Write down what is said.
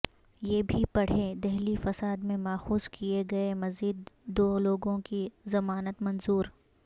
یہ بھی پڑھیں دہلی فساد میں ماخوذ کئے گئے مزید دولوگوں کی ضمانت منظور